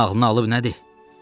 Şeytan ağlına alıb nədir?